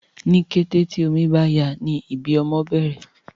ní kété tí omí bá yá ní ibí ọmọ bèrè